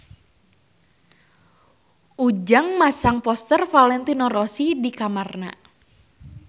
Ujang masang poster Valentino Rossi di kamarna